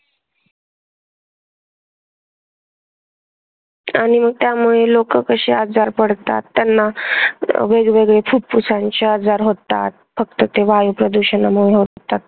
आणि मग त्यामुळे लोकं कशे आजारी पडतात. त्यांना वेगवेगळे फुफ्फुसांचे आजार होतात, फक्त ते वायू प्रदूषणामुळे होतात.